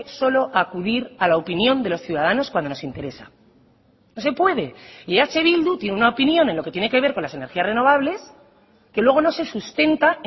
solo acudir a la opinión de los ciudadanos cuando nos interesa no se puede y eh bildu tiene una opinión en lo que tiene que ver con las energías renovables que luego no se sustenta